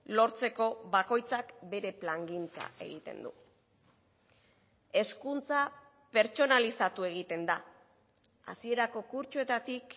lortzeko bakoitzak bere plangintza egiten du hezkuntza pertsonalizatu egiten da hasierako kurtsoetatik